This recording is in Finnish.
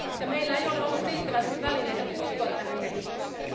Meillä ei ole ollut riittävästi välineitä puuttua tähän kehitykseen.